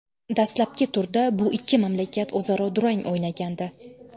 Dastlabki turda bu ikki mamlakat o‘zaro durang o‘ynagandi.